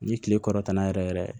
Ni kile kɔrɔtanna yɛrɛ yɛrɛ